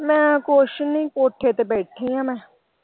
ਮੈਂ ਕੁਛ ਨਹੀਂ ਕੋਠੇ ਤੇ ਬੈਠੀ ਆਂ ਮੈਂ।